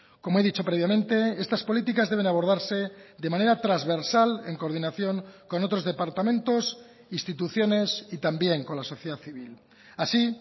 como he dicho previamente estas políticas deben abordarse de manera transversal en coordinación con otros departamentos instituciones y también con la sociedad civil así